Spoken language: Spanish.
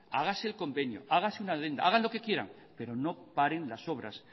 hágase el convenio hágase una hagan lo que quieran pero no paren las obras